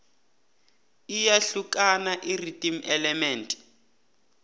iyahlukani irhythm element